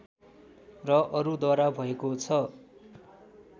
र अरूद्वारा भएको छ